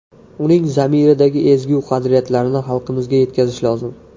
Uning zamiridagi ezgu qadriyatlarni xalqimizga yetkazish lozim.